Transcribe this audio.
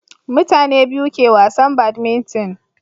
mutane biyu ke wasan badminton